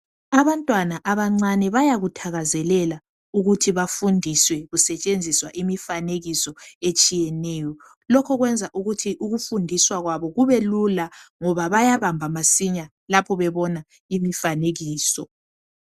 Abantwana abancane bayakuthakazelela ukuthi bafundiswe kusetshenziswa umfanekiso etshiyeneyo lokho kuyenza imifundiso yabo ibe lula ngoba bayabamba masinya lapho bebona imifanekiso.